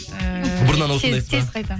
ііі бұрыннан осындайсыз ба тез тез қайтамын